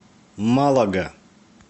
малага